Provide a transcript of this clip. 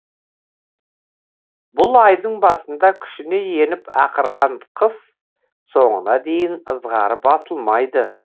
бұл айдың басында күшіне еніп ақырған қыс соңына дейін ызғары басылмайды